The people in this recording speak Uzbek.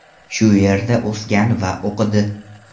Shu yerda o‘sgan va o‘qidi.